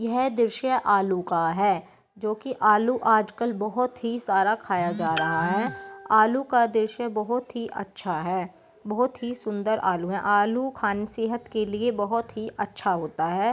यह दृश्य आलू का है जो की आलू आज कल बहुत ही सारा खाया जा रहा है आलू का दृश्य बहोत ही अच्छा है बहोत ही सुन्दर आलू है आलू खाने सेहत के लिए बहोत ही अच्छा है।